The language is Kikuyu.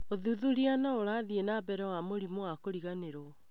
ũthuthuria no ũrathi na mbere wa mũrimũ wa kũriganĩrwo.